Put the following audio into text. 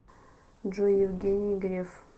джой евгений греф